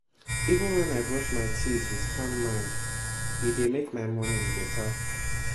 even when i brush my teeth with calm mind e dey make my morning better